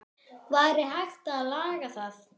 Væri hægt að laga það?